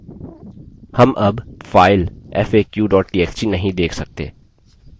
हम अब file faq txt नहीं देख सकते